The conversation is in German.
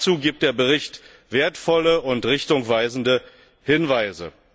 Dazu gibt der Bericht wertvolle und richtungweisende Hinweise.